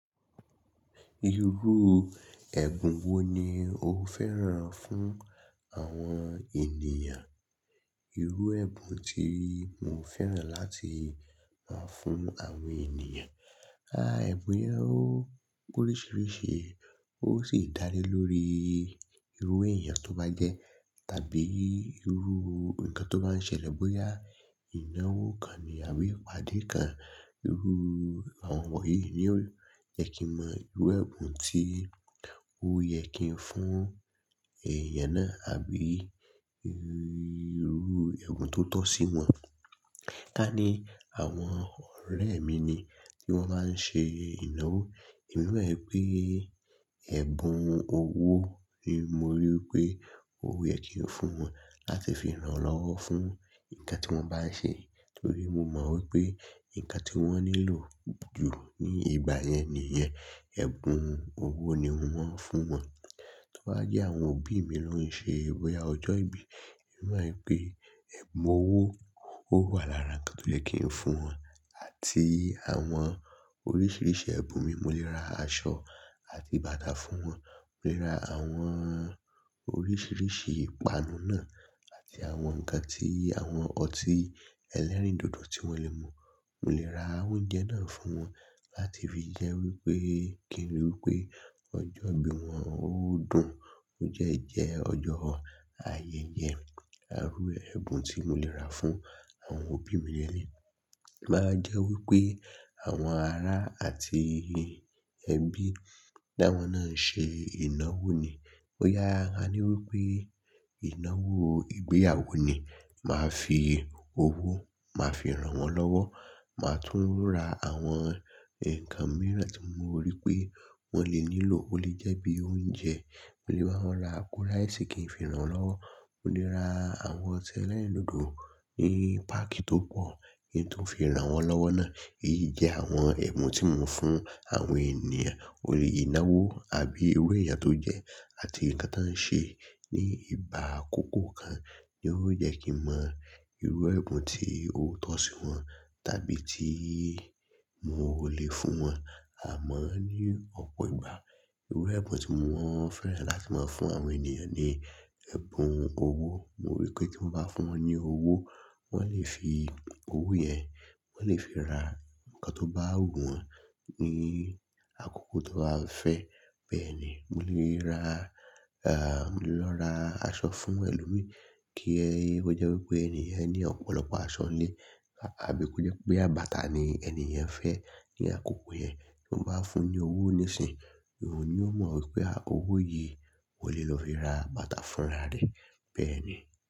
Irú ẹ̀bùn wo ni o fẹ́ràn fún àwọn ènìyàn? Irú ẹ̀bùn tí mo fẹ́ràn láti rá fún àwọn ènìyàn, ah ẹ̀bùn yẹn ó poríṣiríṣi, ó sì dále lórí irú èèyàn tó bá jẹ́, tàbí irú nǹkan tó bá ń ṣẹlẹ̀ bóyá ìnáwó kan ni àbí ìpàdé kan. Irú àwọn wọ̀nyí ni ó yẹ kí mọ irú ẹ̀bùn tí ó yẹ kí n fún èèyàn náà, àbí irú ẹ̀bùn tó tọ́ sí wọn. Ká ní àwọn ọ̀rẹ́ mi ni wọ́n wá ń ṣe ìnáwó, èmi mọ̀ pé ẹ̀bùn owó ni mo rí wipé ó yẹ kí n fún wọn láti fi rànwọ́ fún nǹkan tí wọ́n bá ń ṣe. Nítorí mo mọ̀ wípé nǹkan tí wọ́n nílò jù ní ìgbà yẹn nìyẹn, ẹ̀bùn owó ni ńwọ́n fún wọn. Tí ó bá jẹ́ àwọn òbí mi ló ń ṣe bòyà ọjọ́ ìbí, èmi mọ̀ pé ẹ̀bùn owó ó wà lára nǹkan tó yẹ kí n fún wọn àti àwọn oríṣiríṣi ẹ̀bùn mii, mo lè ra aṣọ àti bàtà fún wọn, mo lè ra àwọn oríṣiríṣi ìpanu náà àti àwọn nǹkan tí àwọn ọtí ẹlẹ́rìndòdò tí wọ́n lè mu. Mo lè ra oúnjẹ náà fún wọn láti fi jẹ́ wípé kí n rí wípé ọjọ́ ìbí wọn ó dùn, ó jẹ́ jẹ́ ọjọ́ ayẹyẹ. Erú ẹ̀bùn tí mo lè ra fún àwọn òbí mi ní lèlé. To bawa jẹ́ wípé àwọn ará àti ẹbí tí àwọn náà ń ṣe ìnáwó ni. Boyá a ní wípé ìnáwó ìgbéyàwó ni. Màá fi owó, màá fi ranwọ́n lọ́wọ́, màá tún ra àwọn nǹkan mìíràn tí mo rí pé wọ́n lè nílò. Ó lè jẹ́ bí i oúnjẹ, mo lè bá wọn ra apo ráísì kí n fi ranwọ́n lọ́wọ́, mo lè ra àwọn ọtí ẹlẹ́rìndòdò ní páàkì tó pọ̀ kí n tun fi ranwọ́n lọ́wọ́ náà. Èyí jẹ́ àwọn ẹ̀bùn tí mo n fún àwọn ènìyàn. Orí ìnáwó àbí irú èèyàn tó jẹ́ àti nǹkan tań n ṣe ní ìgbà àkókò kan ni ó yẹ kí mọ irú ẹ̀bùn tí ó tọ́ sí wọn tàbí tí mo ò lè fún wọn. Àmọ́ ní ọ̀pọ̀ ìgbà, irú ẹ̀bùn tí mo wọ́n fẹ́ràn láti máa fún àwọn ènìyàn ni ẹ̀bùn owó. Mo rí pé tí mo bá fún wọn ní owó, wọ́n lè fi owó yẹn, wọ́n lè fi ra nǹkan tó bá wù wọ́n ní àkókò tan bá fẹ́. Bẹ́ẹ̀ ni, mo lè ra, ah mo lè lọ ra aṣọ fún ẹlòmíì kí ó jẹ́ wípé ènìyàn yẹn ní ọ̀pọ̀lọpọ̀ aṣọ nílé, àbí kó jẹ́ pé bàtà ni ènìyàn fẹ́ ní àkókò yẹn, tí ó bá fún ní owó nísìnyìí, òun ni ó mọ̀ wípé owó yìí ó lè lọ fi ra bàtà fúnra rẹ̀. Bẹ́ẹ̀ ni.